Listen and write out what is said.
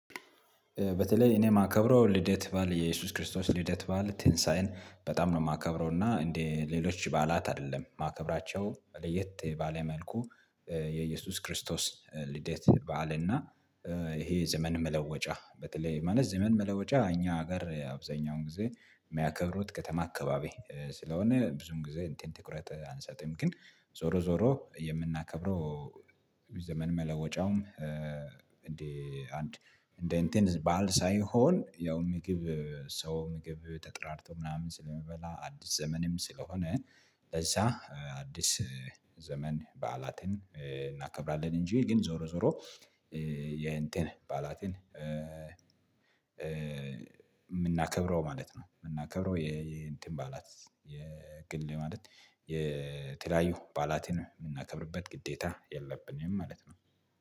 በተለይ እኔ የማከብረው ልደት በዓል የኢየሱስ ክርስቶስ ልደት በዓል ትንሳኤን በጣም ነው የማከብረው እና እንደ ሌሎች በዓላት አይደለም ማከብራቸው ለየት ባለ መልኩ። የኢየሱስ ክርስቶስ ልደት በዓል እና። ይሄ ዘመን መለወጫ በተለይ ማለት ዘመን መለወጫ እኛ ጋር አብዛኛውን ጊዜ የሚያከብሩት ከተማ አካባቢ ስለሆነ ብዙም ጊዜ እንትን ትኩረት አንሰጥም። ግን ዞሮ ዞሮ የምናከብረው ዘመን መለወጫውም። እንደ አንድ እንደ እንትን በዓል ሳይሆን ያው ምግብ ሰው ምግብ ተጠራርቶ ምናምን ስለሚበላ አዲስ ዘመንም ስለሆነ። ለዛ አዲስ ዘመን በዓላትን እናከብራለን። እንጂ ግን ዞሮ ዞሮ የእንትን በዓላትን የምናከብረው ማለት ነው። የምናከብረው የእንትን በዓላት የግል ማለት የተለያዩ በዓላትን የምናከብርበት ግዴታ የለብንም ማለት ነው